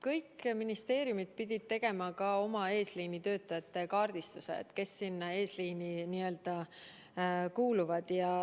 Kõik ministeeriumid pidid tegema ka oma eesliinitöötajate kaardistuse, teatama, kes sinna n-ö eesliini kuuluvad.